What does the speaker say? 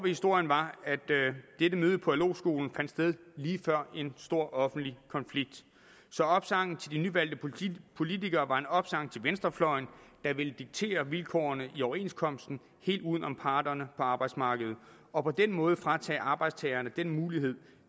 historien var at dette møde på lo skolen fandt sted lige før en stor offentlig konflikt så opsangen til de nyvalgte politikere var en opsang til venstrefløjen der ville diktere vilkårene i overenskomsten helt uden om parterne på arbejdsmarkedet og på den måde fratage arbejdstagerne den mulighed